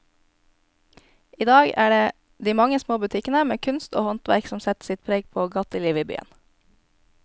I dag er det de mange små butikkene med kunst og håndverk som setter sitt preg på gatelivet i byen.